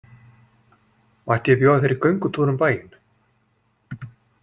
Mætti ég bjóða þér í göngutúr um bæinn?